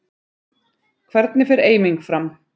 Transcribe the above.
Hvernig fer eiming fram?